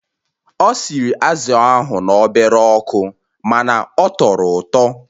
Ọ sịrị azụ̀ ahụ n'obere ọkụ ma ọ tọrọ ụtọ